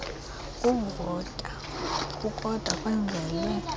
kuvota kukodwa kwenzelwe